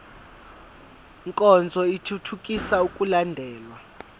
nkonzo ithuthukisa ukulandelwa